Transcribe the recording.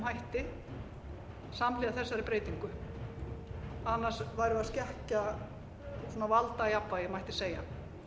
einhverjum hætti samhliða þessari breytingu annars væri verið að skekkja valdajafnvægið mætti segja